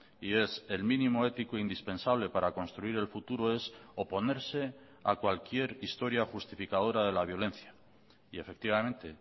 y es el mínimo ético indispensable para construir el futuro es oponerse a cualquier historia justificadora de la violencia y efectivamente